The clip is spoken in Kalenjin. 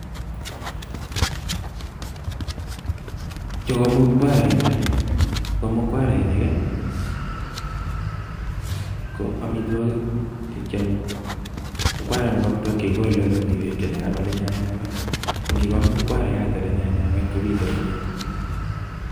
Chuu ko mukwarainik. kigoleee olee miii beek chechang ako nyanyawet siko biit komyie